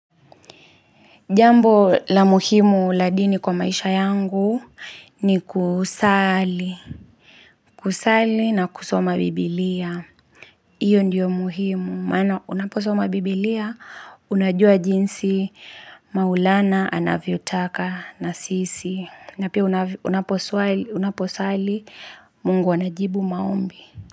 Jambo la muhimu la dini kwa maisha yangu ni kusali na kusoma biblia. Hiyo ndiyo muhimu. Maana unaposoma biblia, unajua jinsi maulana, anavyo taka, nasisi. Na pia unaposali, mungu anajibu maombi.